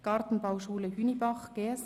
«Gartenbauschule Hünibach (GSH)».